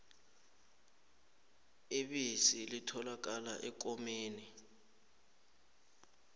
ibisi litholakala ekomeni